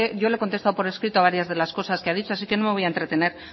yo le he contestado por escrito varias de las cosas que ha dicho así que no voy a entretener